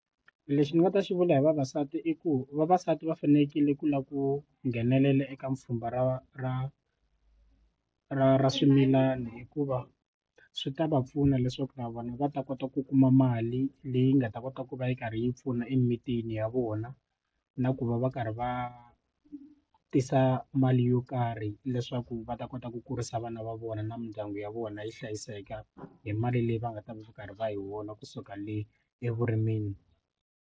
Lexi ni nga ta xi vula hi vavasati i ku vavasati va fanekele ku lava ku nghenelela eka pfhumba ra ra ra ra swimilani hikuva swi ta va pfuna leswaku na vona va ta kota ku kuma mali leyi nga ta kota ku va yi karhi yi pfuna emimitini ya vona na ku va va karhi va tisa mali yo karhi leswaku va ta kota ku kurisa vana va vona na mindyangu ya vona yi hlayiseka hi mali leyi va nga ta va karhi va hi wona kusuka le evurimini.